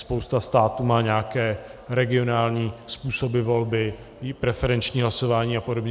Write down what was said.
Spousta států má nějaké regionální způsoby volby, preferenční hlasování a podobně.